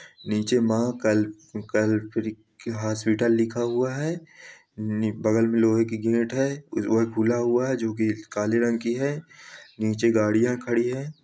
नीचे हॉस्पिटल लिखा हुआ है| बगल में लोहे की गेट है| वह खुला हुआ है जोकि काले रंग की है| नीचे गाड़ियां खड़ी हैं।